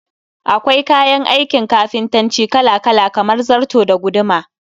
Akwai kayan aikin kafintanci Kala-kala kamar zarto da guduma